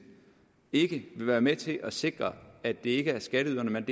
ikke vil være med til at sikre at det ikke er skatteyderne men